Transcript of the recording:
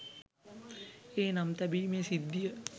ඒ නම් තැබීමේ සිද්ධිය